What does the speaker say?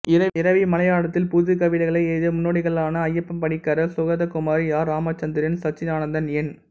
இரவிவர்மா மலையாளத்தில் புதுக்கவிதைகளை எழுதிய முன்னோடிகளான அய்யப்ப பணிக்கர் சுகதகுமாரி ஆர் ராமச்சந்திரன் சச்சிதானந்தன் என்